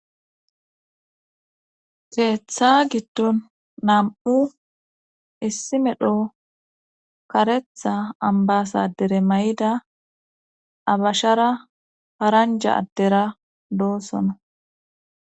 Geetha giddon nam'u issi medho karetha ambasadere may'ida abashara paranja addera doosono.